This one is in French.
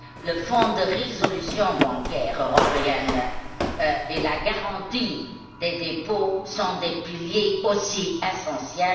Le Fonds de résolution bancaire européenne et la garantie des dépôts sont des piliers tout aussi essentiels.